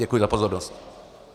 Děkuji za pozornost.